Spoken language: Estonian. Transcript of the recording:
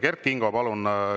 Kert Kingo, palun!